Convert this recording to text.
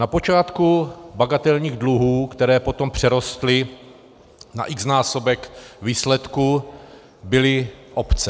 Na počátku bagatelních dluhů, které potom přerostly na x-násobek výsledků, byly obce.